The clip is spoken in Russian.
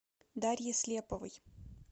дарье слеповой